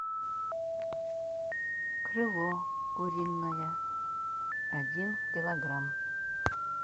крыло куриное один килограмм